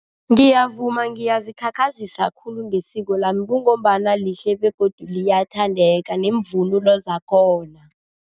Ngiyavuma ngiyazikhakhazisa khulu ngesiko lami kungombana lihle begodu liyathandeka nemvunulo zakhona.